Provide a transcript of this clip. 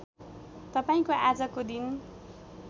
तपाईँको आजको दिन